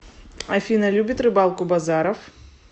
афина любит рыбалку базаров